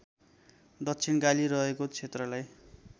दक्षिणकाली रहेको क्षेत्रलाई